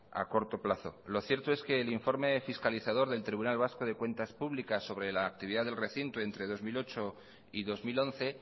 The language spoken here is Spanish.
a corto plazo lo cierto es que el informe fiscalizador del tribunal vasco de cuentas públicas sobre la actividad del recinto entre dos mil ocho y dos mil once